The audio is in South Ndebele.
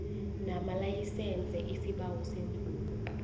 namalayisense isibawo semvumo